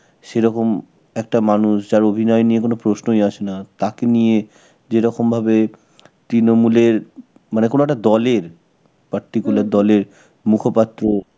সেরকম একটা মানুষ, যার অভিনয় নিয়ে কোন প্রশ্নই আসে না, তাকে নিয়ে যেরকম ভাবে তৃণমূলের, মানে কোনো একটা দলের, particular দলের মুখপাত্র